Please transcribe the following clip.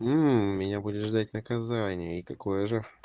мм меня будешь ждать наказание и какое же